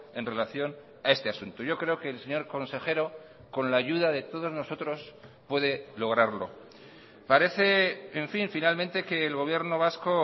en relación a este asunto yo creo que el señor consejero con la ayuda de todos nosotros puede lograrlo parece en fin finalmente que el gobierno vasco